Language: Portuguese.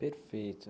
Perfeito.